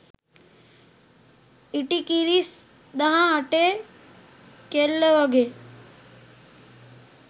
ඉටිකිරිස් දහ අටේ කෙල්ල වගේ